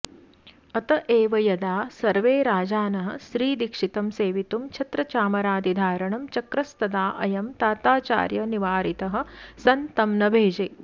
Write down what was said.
अत एव यदा सर्वे राजानः श्रीदीक्षितं सेवितुं छत्रचामरादिधारणं चक्रस्तदा अयं ताताचार्यनिवारितः सन् तं न भेजे